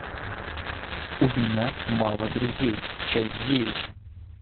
у меня мало друзей часть девять